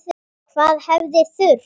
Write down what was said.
Hvað hefði þurft?